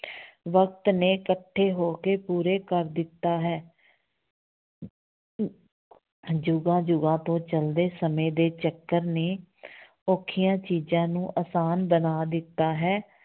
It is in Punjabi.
ਵਕਤ ਨੇ ਇਕੱਠੇ ਹੋ ਕੇ ਪੂਰੇ ਕਰ ਦਿੱਤਾ ਹੈ ਜੁਗਾਂ ਜੁਗਾਂ ਤੋਂ ਚੱਲਦੇ ਸਮੇਂ ਦੇ ਚੱਕਰ ਨੇ ਔਖੀਆਂ ਚੀਜ਼ਾਂ ਨੂੰ ਆਸਾਨ ਬਣਾ ਦਿੱਤਾ ਹੈ।